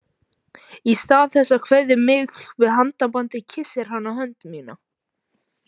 Í stað þess að kveðja mig með handabandi kyssir hann á hönd mína.